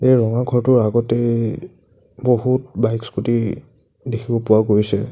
এই ৰঙা ঘৰটোৰ আগতেই বহুত বাইক স্কুটি দেখিব পোৱা গৈছে।